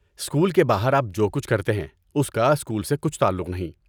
School کے باہر آپ جو کچھ کرتے ہیں اس کا اسکول سے کچھ تعلق نہیں۔